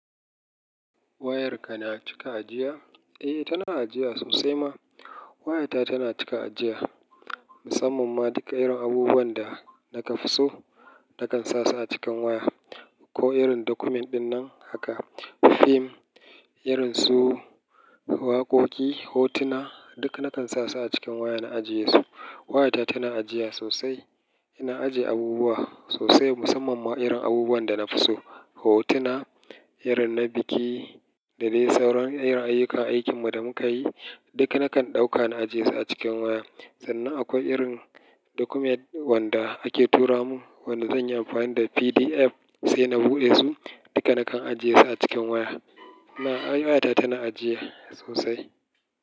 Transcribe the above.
Wayarka na cika ajiya? Eh, tana ajiya sosai ma. Wayata tana cika ajiya, musamman ma duk irin abubuwan da na ka fi so, na kan sa su a cikin waya ko irin document dinnan haka, fim irin su waƙoƙi, hotuna duk na kan sa su a cikin waya na ajiye su. Wayata tana ajiya sosai. Ina ajiye abubuwa sosai musamman ma irin abubuwan da na fi so. Hotuna, irin na biki da dai sauran irin ayyukan aikin mu da muka yi duk na kan ɗauka na ajiye su a cikin waya. Sannan akwai irin document wanda ake tura mun wanda zan yi amfani da PDF sai na buɗe su. Duka na kan ajiye su a cikin waya. Na, wayata tana ajiya sosai.